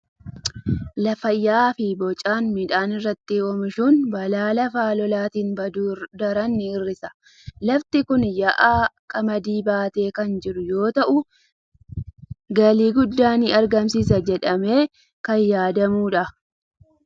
Lafa yaa'aa fi bocaan midhaan irratti oomishuun balaa lafa lolaatiin baduu daran ni hir'isa. Lafti kun yaa'aan qamadii baatee kan jiru yoo ta'u, galii guddaa ni argamsiisa jedhamee kan yaadamudha.